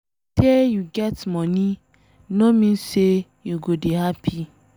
Sey you get money no mean sey you go dey happy